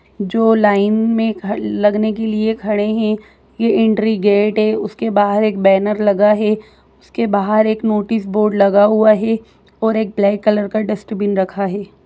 जो लाइन में ख लगने के लिए खड़े है ये एंट्री गेट है उसके बाहर एक बैनर लगा हुआ है उसके बाहर एक नोटिस बोर्ड लगा हुआ है और एक ब्लैक कलर का डस्टबिन रखा है।